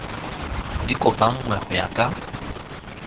di kopanngwe go ya ka